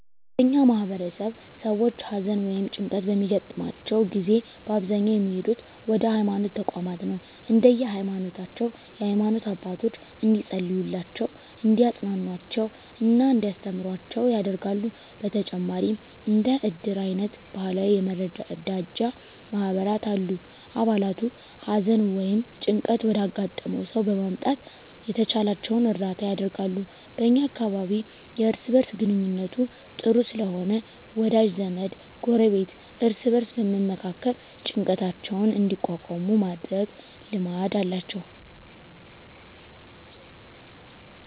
በእኛ ማህበረሰብ ሰዎች ሀዘን ወ ይም ጭንቀት በሚያገጥማቸው ጊዜ በአብዛኛው የሚሄዱት ወደ ሀይማኖት ተቋማት ነው። እንደየ ሀይማኖታቸው የሃይማኖት አባቶች እንዲፀልዩላቸው፣ እንዲያፅናኑአቸው እና እንዲያስተምሩአቸው ያደርጋሉ። በተጨማሪም እንደ እድር አይነት ባህላዊ የመረዳጃ ማህበራት አሉ። አባላቱ ሀዘን ወይም ጭንቀት ወዳጋጠመው ሰው በመምጣት የተቻላቸውን እርዳታ ያደርጋሉ። በ እኛ አካባቢ የእርስ በእርስ ግንኙነቱ ጥሩ ስለሆነ ወዳጅ ዘመድ፣ ጎረቤት እርስ በእርስ በመመካከር ጭንቀታቸውን እንዲቋቋሙ የማድረግ ልማድ አላቸው።